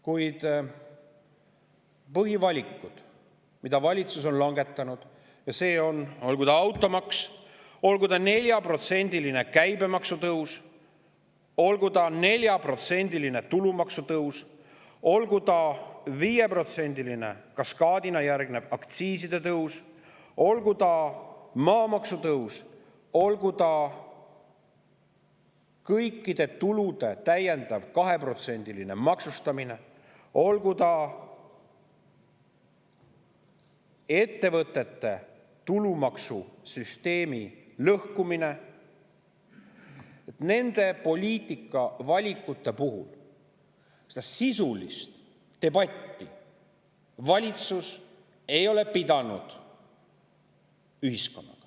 Kuid põhivalikud, mille valitsus on langetanud, olgu see automaks, olgu see 4%‑line käibemaksu tõus, olgu see 4%‑line tulumaksu tõus, olgu see kaskaadina järgnev 5%‑line aktsiiside tõus, olgu see maamaksu tõus, olgu see kõikide tulude täiendav 2%‑line maksustamine, olgu see ettevõtete tulumaksu süsteemi lõhkumine – nende poliitikavalikute puhul ei ole valitsus ühiskonnaga sisulist debatti pidanud.